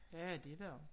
Ja det der også